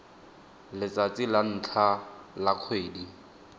letsatsi la ntlha la kgwedi